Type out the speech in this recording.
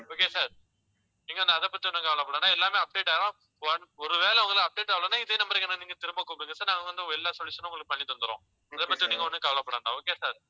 okay sir நீங்க வந்து அதைப் பத்தி ஒண்ணும் கவலைப்பட வேண்டாம். எல்லாமே update ஆகும் ஒரு வேளை உங்களுக்கு update ஆகலைன்னா இதே number க்கு என்னை நீங்க திரும்ப கூப்பிடுங்க sir நாங்க வந்து எல்லா solution னும் உங்களுக்கு பண்ணி தந்தர்றோம். இதைப்பத்தி நீங்க ஒண்ணும் கவலைப்பட வேண்டாம். okay sir